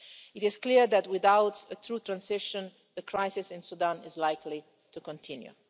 It is clear that, without a true transition, the crisis in Sudan is likely to continue.